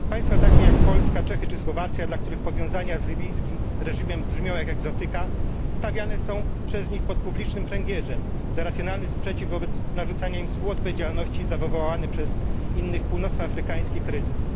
Państwa takie jak Polska, Czechy czy Słowacja, dla których powiązania z libijskim reżimem brzmią jak egzotyka, stawiane są przez nich pod publicznym pręgierzem za racjonalny sprzeciw wobec narzucania im współodpowiedzialności za wywołany przez innych północnoafrykańskich kryzys.